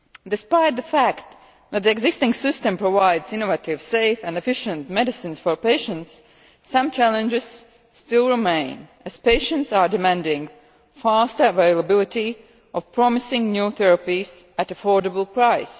Despite the fact that the existing system provides innovative, safe and efficient medicines for patients, some challenges still remain, as patients are demanding faster availability of promising new therapies at affordable prices.